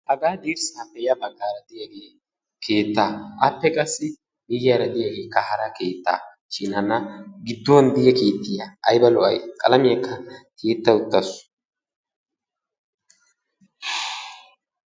Haga dirssaappe ya baggaara de'iyaagee keettaa. Appe qassi miyyiyaara de'iyaagekka hara keettaa shin hana gidduwaan de'iyaa keettiyaa ayba lo"ay? qalamiyaakka tiyyetta uttasu.